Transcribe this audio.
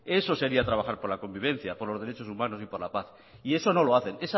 eso sería trabajar por la convivencia por los derechos humanos y por la paz y eso no lo hace es